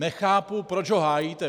Nechápu, proč ho hájíte.